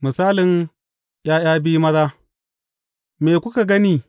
Misalin ’ya’ya biyu maza Me kuka gani?